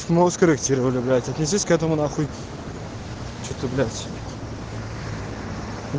политехническая